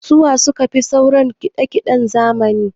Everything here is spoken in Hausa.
Su wa su kafi sauraran kiɗa kiɗen zamani?